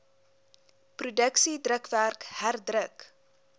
produksie drukwerk herdruk